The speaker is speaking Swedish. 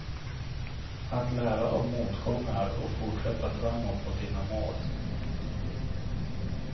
Att lära av motgångar och fortsätta framåt mot dina mål.